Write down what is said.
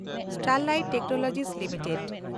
Sterlite technologies limited